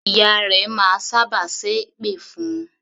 Ìyá rẹ máa sábà ṣẹ́ èpè fún un.